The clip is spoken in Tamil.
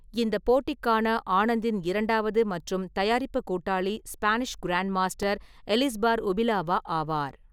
இந்தப் போட்டிக்கான ஆனந்தின் இரண்டாவது மற்றும் தயாரிப்பு கூட்டாளி ஸ்பானிஷ் கிராண்ட்மாஸ்டர் எலிஸ்பார் உபிலவா ஆவார்.